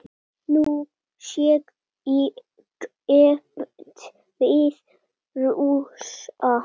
Nú sé keppt við Rússa.